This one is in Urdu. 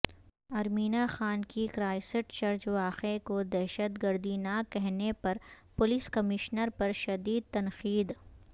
ارمینا خان کی کرائسٹ چرچ واقعے کو دہشتگردی نہ کہنے پرپولیس کمشنر پر شدید تنقید